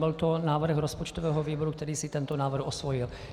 Byl to návrh rozpočtového výboru, který si tento návrh osvojil.